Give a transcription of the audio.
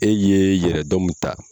E ye yɛrɛdɔn mun ta